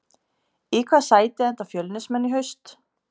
Í hvaða sæti enda Fjölnismenn í haust?